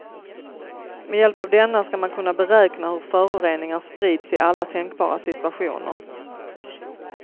Med hjälp av denna ska man kunna beräkna hur föroreningar sprids i alla tänkbara situationer.